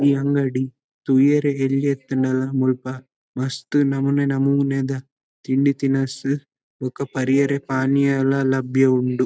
ಈ ಅಂಗಡಿ ತೂಯೆರೆ ಎಲ್ಯ ಇತ್ತ್ಂಡಲ ಮುಲ್ಪ ಮಸ್ತ್ ನಮೂನೆ ನಮೂನೆದ ತಿಂಡಿ ತಿನಸ್ ಬೊಕ ಪರಿಯೆರೆ ಪಾನೀಯಲ ಲಭ್ಯ ಉಂಡು.